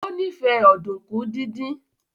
o nife Ọ̀dùnkún dín dín.